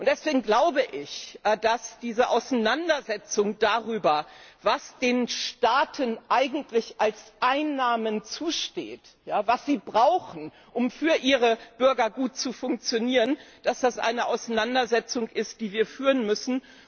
Deswegen glaube ich, dass diese Auseinandersetzung darüber, was den Staaten eigentlich als Einnahmen zusteht, was sie brauchen, um für ihre Bürger gut zu funktionieren, eine Auseinandersetzung ist, die wir führen müssen.